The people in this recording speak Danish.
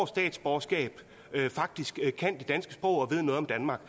statsborgerskab faktisk kan det danske sprog og ved noget om danmark